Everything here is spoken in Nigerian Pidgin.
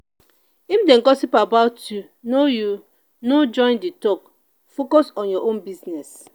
if dem gossip about you no you no join di talk focus on your own business.